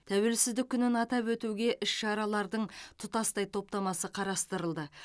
тәуелсіздік күнін атап өтуге іс шаралардың тұтастай топтамасы қарастырылды